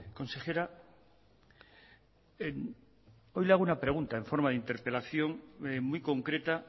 consejera hoy le hago una pregunta en forma de interpelación muy concreta